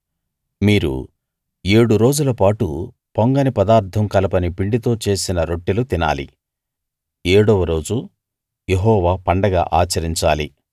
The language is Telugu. మీరు ఏడు రోజులపాటు పొంగని పదార్థం కలపని పిండితో చేసిన రొట్టెలు తినాలి ఏడవ రోజు యెహోవా పండగ ఆచరించాలి